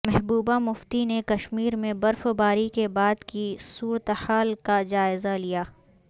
محبوبہ مفتی نے کشمیر میں برف باری کے بعد کی صورتحال کا جائیزہ لیا